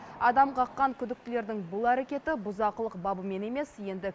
адам қаққан күдіктілердің бұл әрекеті бұзақылық бабымен емес енді